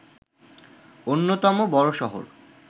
অন্যতম বড় শহর